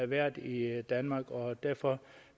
været i danmark og derfor